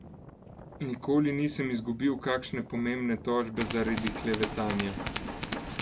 Nikoli nisem izgubil kakšne pomembne tožbe zaradi klevetanja.